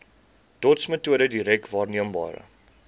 dotsmetode direk waarneembare